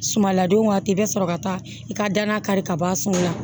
Sumaladon waati i bɛ sɔrɔ ka taa i ka danna kari ka bɔ a sun na